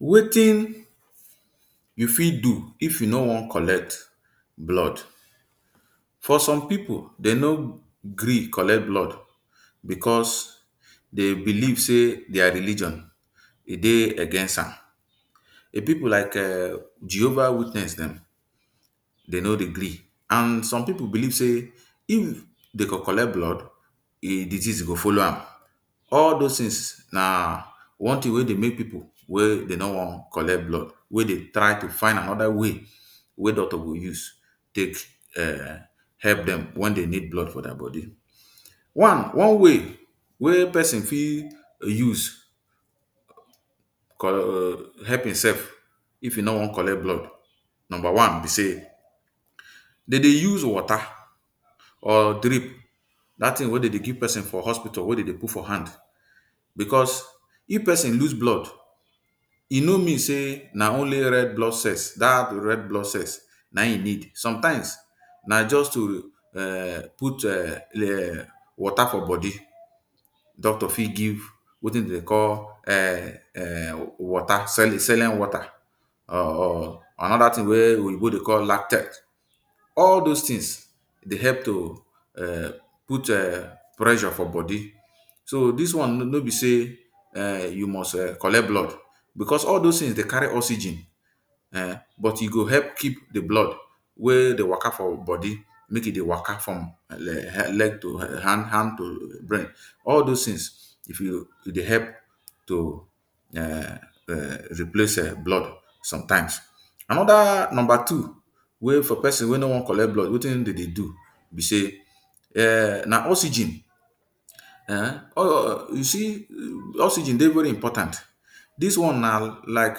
Wetin you fit do if you no wan collect blood for some pipu dem no gree collect blood because Dey believe sey dia religion e Dey against am, pipu like um jehova witness dem Dey no Dey gree and some pipu believe sey if Dey go collect blood disease go follow am all does things na one thing wey Dey make pipu wey do no wan collect blood wey Dey try to find another way wey doctor go use take help um dem wen Dey need blood for dia body one. one way wey person fit use help himself if im no want collect blood number one b say dem Dey use water or drip that thing wey dem Dey give person for hospital wey dem Dey put for hand because if person loose blood e no mean say na only red blood cells dat red blood cells na im e need sometimes na just to um put um water for body doctor fit give wetin dem Dey call um water saline water um or another thing wey we go Dey call lactet all dose things Dey help to um put um pressure for body so this one no be sey um you must um collect blood because all dose things Dey carry oxygen um but e go help keep de blood wey Dey waka for body make e Dey waka from leg to had to brain all dose things e Dey help to um replace blood sometimes another number two wey for person wey no wan collect blood wetin dem Dey do b sey um na oxygen you c oxygen Dey very important dis one na like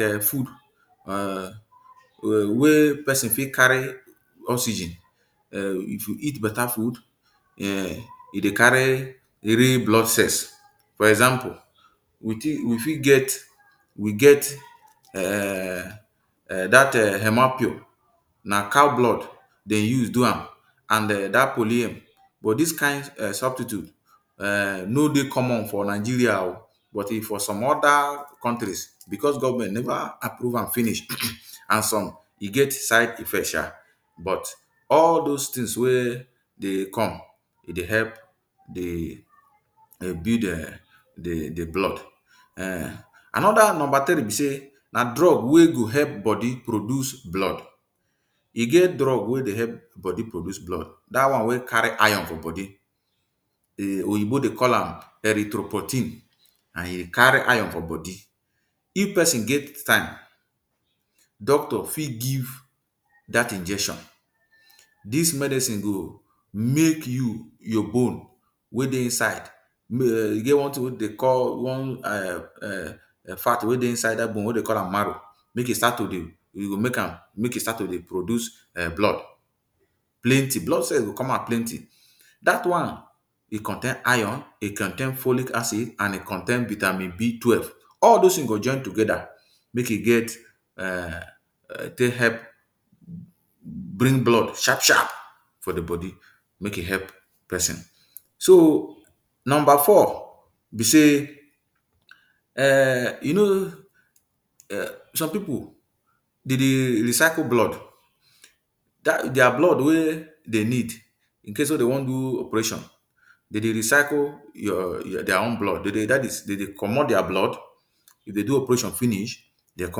[um]food um wey person fit carry oxygen if you eat beta food um e Dey carry red blood cells for example we fit get we get um that hemopure na cow blood Dey use do am and den dat polyen but dis kin um substitute um no Dey common for Nigeria ooo but for some oda countries because government never approve am finish and some e get side effect sha but all dose things wey Dey come e Dey help build de um the blood another number three b sey na drug wey go help body produce blood e get drug wey Dey help body produce blood dat one wey carry iron for body oyinbo Dey call Erythropoietin and e carry iron for body if person get time doctor fit give dat injection dis medicine go make you your bone wey Dey inside um e get one dey call one um fat wey Dey inside dat bone wey Dey call am marrow make e start to Dey e go make am make e start to Dey produce um blood plenty blood cell go come out plenty dat one e contain iron e contain folic acid and e contain vitamin b twelve all dose things go join together make e get um take help bring blood sharp sharp for di body make e help person so number four b sey um you know some pipu Dey Dey recycle blood dia blood wey Dey need incase dem wan do operation Dey Dey recycle dia own blood dat is dem Dey commot dia blood if dem do operation finish dem go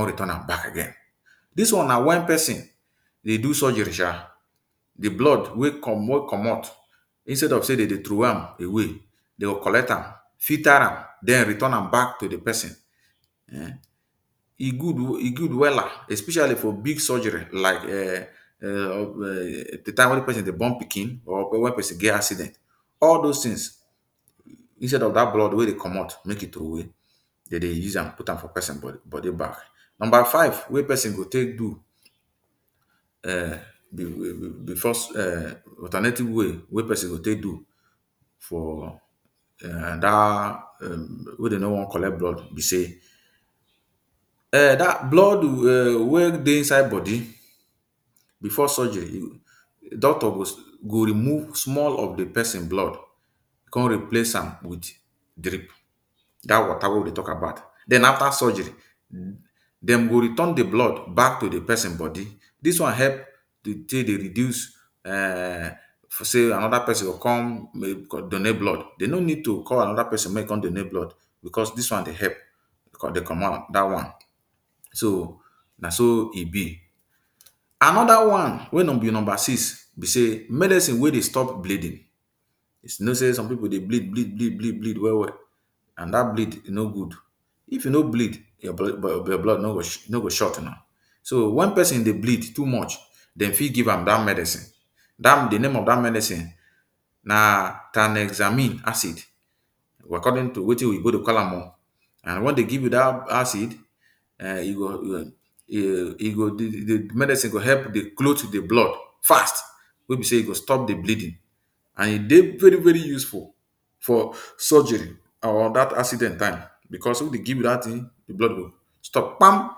come return am back again dis one na when person Dey do surgery um de blood wey commot instead of say dem go trowey am away dem go collect am filter am den return am back to de person e good ooo e good wella especially for big surgery like um de time wey person Dey born pikin or wen person get accident all dose things instead of dat blood wey Dey commot make e trowey dem Dey use am put am for person body back number five wey person go take do um alternative way wey person go take do for wey dem no wan collect blood b say um blood wey Dey inside body before surgery doctor go remove small of de person blood come replace am with drip dat water wey we Dey talk about den after surgery dem go return de blood back to de person body dis one help to take dey reduce um for say another person go come donate blood dem no need to call another person make im come donate blood because dis one Dey help so na so e be another one wey be number six be say Medicine wey Dey stop bleeding you know say some pipu Dey bleed bleed bleed bleed well well and dat bleed e no good if you no bleed your blood no go short na so when person Dey bleed too much dem fit give am dat medicine de name of dat medicine na tranexamic acid according to wetin oyinbo Dey call am ooo and when Dey give you dat acid de medicine go help to cloth de blood fast wey b say e go stop de bleeding im Dey very very useful for surgery or dat accident time because if dem give you dat thing de blood go stop kpam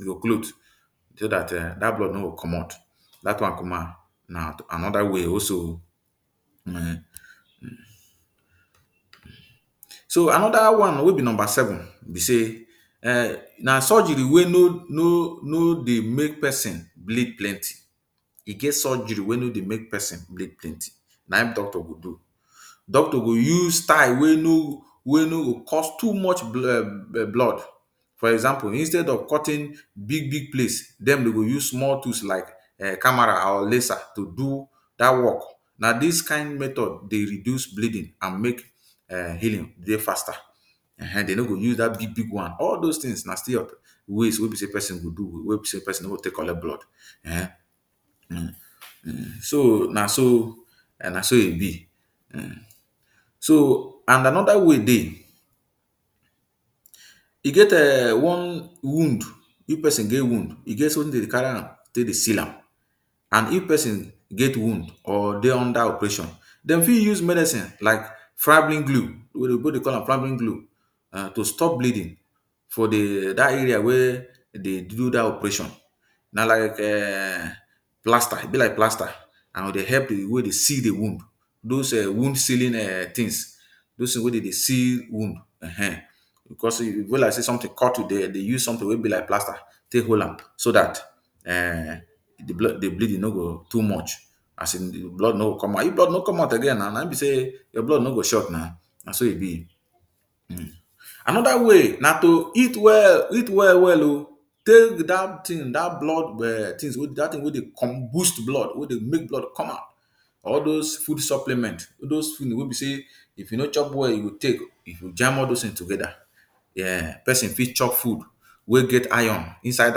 e go cloth so dat dat blood no go commot dat one na another way also so another one wey be number seven be sey na surgery wey no Dey make person bleed plenty e get surgery wey no Dey make person bleed plenty na im doctor go do doctor go use style wey no go wey no go cause too much blood for example instead of cutting big big place dem dey go use small tools like Camara or laser to do dat work na dis kin method go reduce bleeding and make um healing Dey faster when dem no go use dat big big one all dose things na ways wey be say person go do wey be say person no go take collect blood so na so e be and another way Dey e get um one wound if person get wound e get something dem dey carry am take dey seal am and if person get wound or Dey under operation dem fit use medicine like fibrin glue oyinbo Dey call am fibrin glue to stop bleeding for dat area wey dey do dat operation na like um plaster e be like plaster and e Dey help di way dey seal de wound dose wound sealing things dose things wey dem Dey seal wound um because e go be like say something cut you dem use something wey be like plaster take hold am so that the um the bleeding no go too much as in blood no go come out again na na im be say your blood no go short na na so e be another way na to eat well eat well well oo take dat thing dat blood wey Dey boost blood make blood come out all dose food supplement all dose food wey b sey if you no chop well you go take if you jam all those things togeda person fit chop food wey get iron inside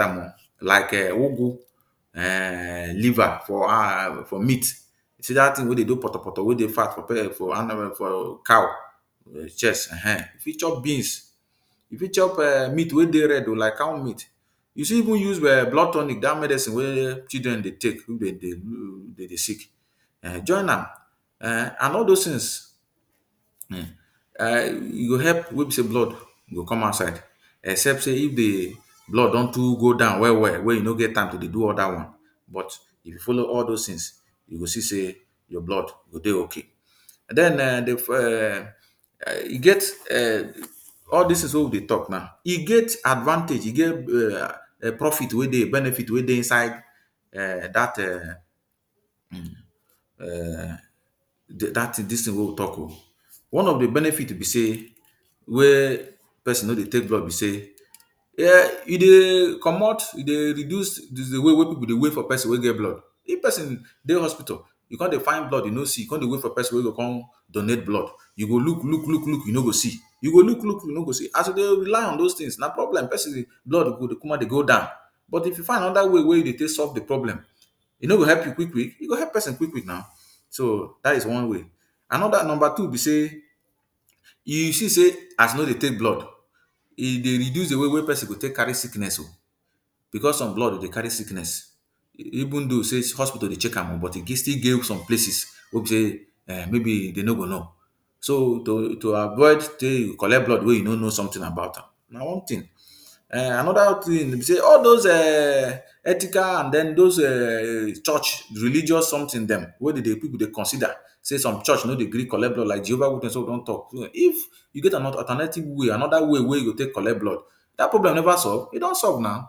am ooo like um ugwu um liver or meat dat thing wey Dey do potopoto wey Dey cow chest um you fit chop beans you fit chop meat wey Dey red oo like cow meat you fit even use um blood tonic dat medicine wey children Dey take when dem Dey sick join am and all dose things e go help make blood go come outside except say it de blood don too go down well well wey you no get time to Dey do all dat one but if you follow all those tins you go c sey your blood go Dey okay den um e get um all dis things wey we Dey talk now e get advantage e get profit benefit wey Dey inside dat um dis thing wey we talk oo one of de benefit b say wey person no Dey take blood b sey you um Dey commot you Dey reduce de way wey pipu Dey wait for person wey get blood if person Dey hospital you come Dey find blood you no see you come Dey wait for person wey go come donate blood you go look look look you no go see you go look look you no go see as we Dey rely on dose things na problem person blood go Dey kukuma Dey go down but if you find anoda way wey you go take solve de problem e no go help you quick quick e go help person quick quick na so dat is one way another number two b sey you c sey as you no Dey take blood e Dey reduce de way wey person go take carry sickness o because some blood Dey carry sickness even though sey hospital Dey check am ooo but e still get some places wey be sey maybe dem no go know so to avoid sey you collect blood wey you no no something about am na one tin another thing b sey all dose um ethical and dose um church religious something dem wey pipu Dey consider say some church no Dey gree collect blood like jehovah witness wey we don talk if you get an alternative way another way wey you go take collect blood dat problem never solve e don solve na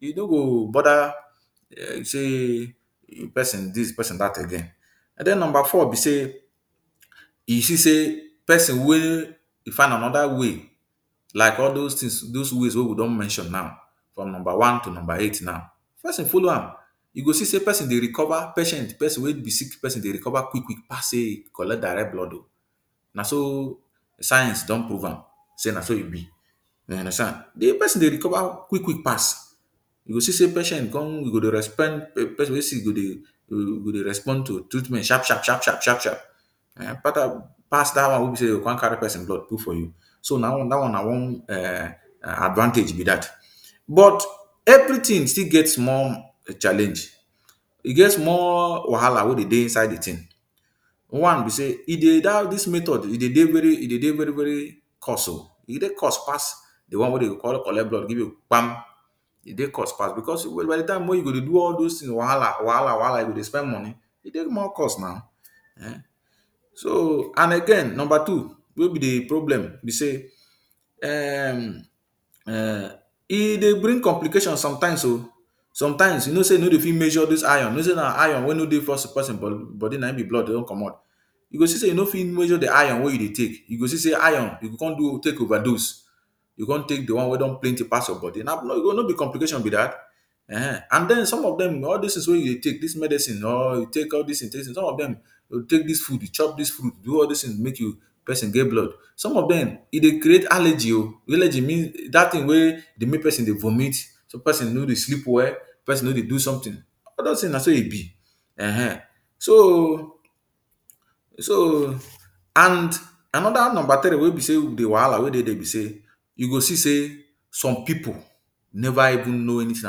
you no go bother say person dis person dat again den number four b say you see say person wey find another way like all dose ways wey we don mention now from number one to number eight now if person follow am you go see say person Dey recover patient person wey be sick person Dey recover quick quick pass sey im collect direct blood oo na so science don prove am sey na so im b you understand di person Dey recover quick quick pass you go see sey patient come person wey sick go Dey respond to treatment sharp sharp pass dat one wey b sey dem carry person blood come put for you so dat one na one advantage b dat but every thing still get small challenge e get small wahala wey Dey dey inside de thing one b say this method e Dey very very very cost oo e Dey cost pass de one wey dem go collect blood give you kpam e Dey cost pass because by de time wey you go Dey do all dose wahala wahala you go Dey spend money e Dey more cost na um and again number two wey be de problem b sey um e Dey bring complications sometimes o sometimes you know sey you no go Dey fit measure dis iron you know sey na iron wey no Dey person body na im blood don commot you go c say you no fit measure de iron wey you Dey take you go see sey you com take overdose you go com take de one wey plenty pass your body no be complication b dat um all dose things wey you Dey take dis medicine or you take all dis take dis food chop dis food all dis things wey Dey make person get blood if im chop some of dem create allergy oo dat thing wey Dey make person vomit Person no Dey sleep well all dose things na so im b so so another number three wey b sey b wahala wey Dey dia b sey you go see sey some pipu never even know anything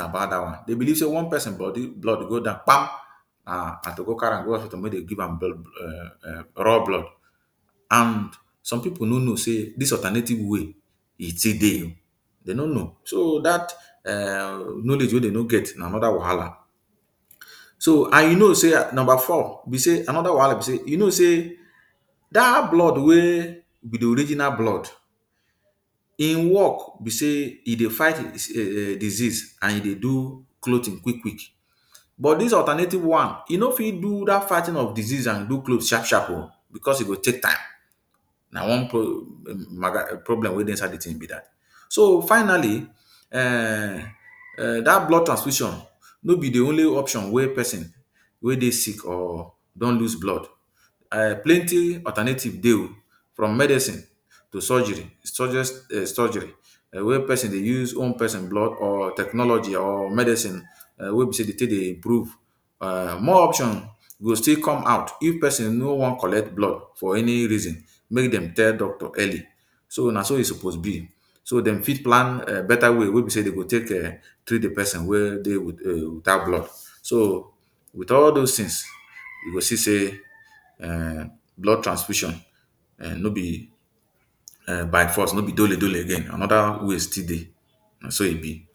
about dat one dey believe sey once person blood go down kpam na to go carry am go hospital make dem give am raw blood some pipu no no sey dis alternative way e still Dey o dem no no. So dat knowledge wey dem no get na another wahala so and you know sey number four another wahala be sey you know sey dat blood wey be the original blood, im work b sey e Dey fight disease and e Dey do clothing quick quick but this alternative one e no fit do dat fighting of disease and clothing sharp sharp oo because e go take time na one problem wey Dey inside de thing be dat so finally um dat blood transfusion no be the only option wey person wey Dey sick or don loose blood um plenty alternative Dey oo from medicine to surgery wey person Dey use own person blood or technology or medicine wey be sey Dey take Dey improve more option go still come after if person no wan collect blood for any reason make dem tell doctor early so na so e suppose be so den fit plan better way wey b say dem go take treat de person wey Dey without blood so with all dose things you go see sey blood transfusion um no be by force no be dole again another way still Dey na so im be